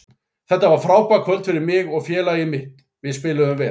Þetta var frábært kvöld fyrir mig og félagið mitt, við spiluðum vel.